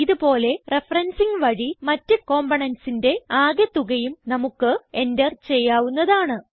ഇത് പോലെ റഫറൻസിങ് വഴി മറ്റ് componentsന്റെ ആകെ തുകയും നമുക്ക് എന്റർ ചെയ്യാവുന്നതാണ്